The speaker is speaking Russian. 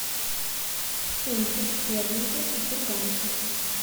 фунты стерлинги в сбербанке